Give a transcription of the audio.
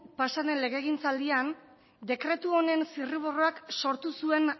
pasaden legegintzaldian dekretu honen zirriborroak sortu zuen